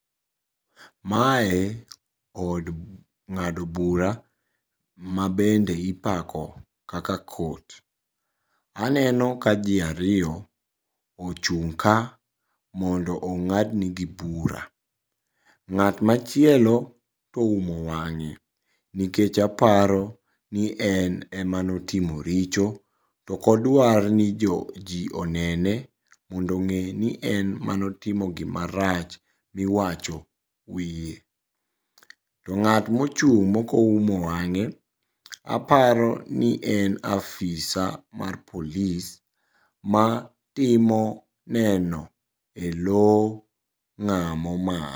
Mae od ng'ado bura mabende ipako kaka court. Aneno ka jii ariyo ochung' ka mondo ong'ad nigi bura. Ng'at machielo to oumo wang'e nikech aparoni en emanotimo ricpo to okdwa ni jii onene mondo ong'eni en manotimo gimarach miwacho e wie. To ng'at mochung' mokoumo wang'e aparo ni en afisa mar polis matimo neno e lo ng'amo.